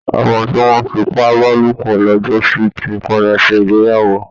ọmọ tí wọ́n fipábálòpọ̀ lọ́jọ́sí ti padà ṣe ìgbéyàwó